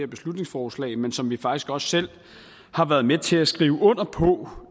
beslutningsforslag men som vi faktisk også selv har været med til at skrive under på